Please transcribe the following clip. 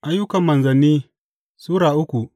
Ayyukan Manzanni Sura uku